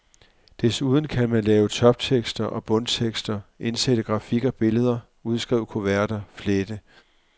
Desuden kan man lave toptekster og bundtekster, indsætte grafik og billeder, udskrive kuverter, flette.